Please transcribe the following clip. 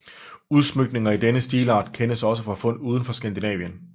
Udsmykninger i denne stilart kendes også fra fund udenfor Skandinavien